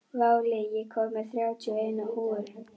Váli, ég kom með þrjátíu og eina húfur!